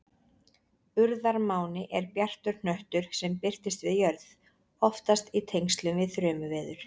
Urðarmáni er bjartur hnöttur sem birtist við jörð, oftast í tengslum við þrumuveður.